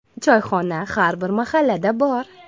Choyxona har bir mahallada bor.